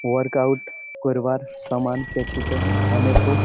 work out কোরবার সমান পেছুতে অনেকও --